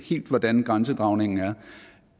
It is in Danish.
hvordan grænsedragningen er